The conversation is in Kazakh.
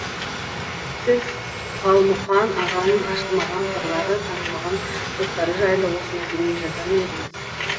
сіз қалмұқан ағаның ашылмаған қырлары танылмаған тұстары жайлы осындай дүние жазар ма едіңіз